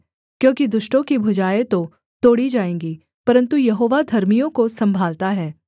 क्योंकि दुष्टों की भुजाएँ तो तोड़ी जाएँगी परन्तु यहोवा धर्मियों को सम्भालता है